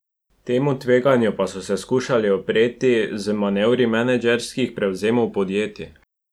Temu tveganju pa so se skušali upreti z manevri menedžerskih prevzemov podjetij.